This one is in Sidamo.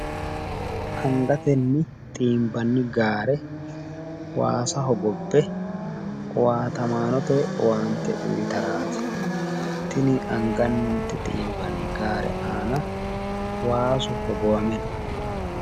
Angatenni xiinbanni gaare waasa hogobbe owaatamaanote owaante uuyitaraati. Tini angate xiinbanni gaare aana waasu hogowame no.